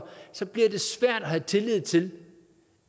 så bliver det svært at have tillid til